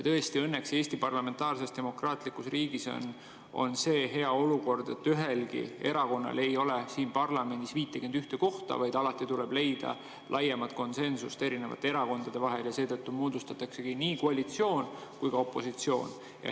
Tõesti, õnneks Eesti parlamentaarses, demokraatlikus riigis on see hea olukord, et ühelgi erakonnal ei ole siin parlamendis 51 kohta, vaid alati tuleb leida laiemat konsensust erakondade vahel ja seetõttu moodustataksegi siin nii koalitsioon kui ka opositsioon.